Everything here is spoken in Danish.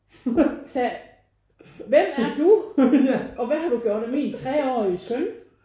Jeg sagde hvem er du? Og hvad har du gjort af mine treårige søn?